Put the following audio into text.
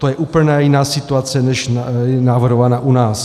To je úplně jiná situace, než je navrhována u nás.